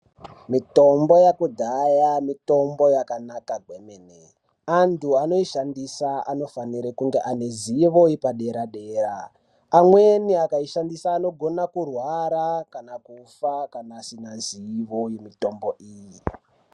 Mitombo yakudhaya mitombo yakanaka kwemene. Antu anoishandisa anofanire kunge ane ruzivo yepadera dera. Amweni akaishandisa anogona kurwara kana kufa kana asina zivo yemitombo iyi.